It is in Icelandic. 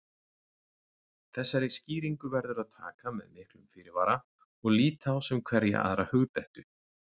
Þessari skýringu verður að taka með miklum fyrirvara og líta á sem hverja aðra hugdettu.